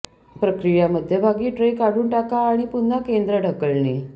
प्रक्रिया मध्यभागी ट्रे काढून टाका आणि पुन्हा केंद्र ढकलणे